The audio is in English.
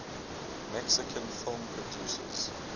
mexican film producers